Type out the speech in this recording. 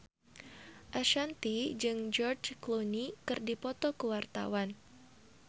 Ashanti jeung George Clooney keur dipoto ku wartawan